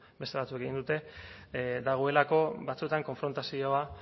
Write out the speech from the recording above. beste batzuek egin dute dagoelako batzuetan konfrontazioa